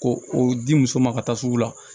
Ko o di muso ma ka taa sugu la